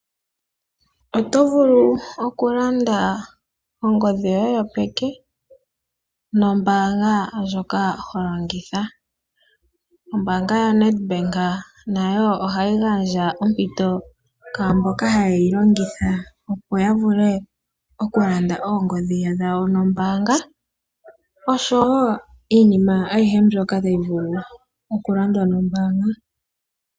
Oto vulu oku landa ongodhi yoye yopeke nombaanga ndjoka ho longitha. Ombaanga yaNedbank nayo ohayi gandja ompito kwaamboka haye yi longitha, opo ya vule oku landa oongodhi dhawo nombaanga oshowo iinima ayihe mbyoka tayi vulu oku landwa nombaanga.